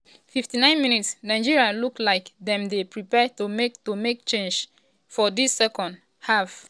59 mins - nigeria look like dem dey prepare to make to make change um for dis second-half. um